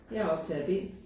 Jeg er optager B